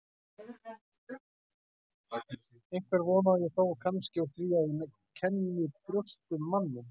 Einhverja von á ég þó kannski úr því að ég kenni í brjósti um manninn.